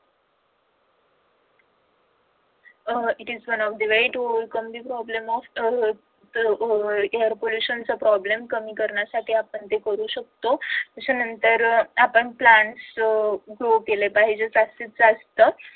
अह it is one of the way to overcome the problem of uh uh air pollution चा problem पण कमी करण्यासाठी आपण ते करू शकतो. त्याच्या नंतर plants grow केले पाहिजे जास्तीतजास्त.